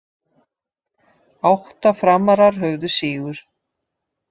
Átta Framarar höfðu sigur